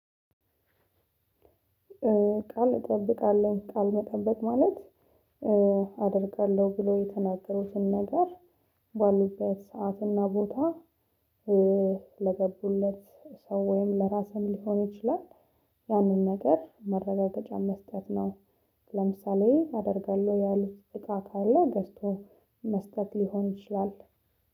ቃል እጠብቃለሁ ቃል መጠበት ማለት አደርጋለሁ ብሎ የተናገሩትን ነገር ባሉበት ሰዓት እና ቦታ ለገቡለት ሰው ወይም ለራስህ ሊሆን ይችላል። ያንን ነገር መረጋጋጫ መስጠት ነው። ለምሳሌ አደርጋለሁ ያሉት እቃ ካለ ገዝቶ መስጠት ሊሆን ይችላል።